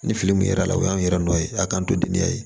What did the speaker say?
Ni fili min kɛra la o y'anw yɛrɛ nɔ ye a k'an to dinɛ ye